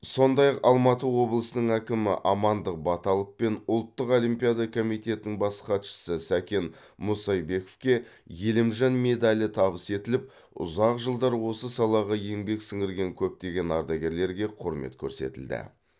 сондай ақ алматы облысының әкімі амандық баталов пен ұлттық олимпиада комитетінің бас хатшысы сәкен мұсайбековке елімжан медалі табыс етіліп ұзақ жылдар осы салаға еңбек сіңірген көптеген ардагерлерге құрмет көрсетілді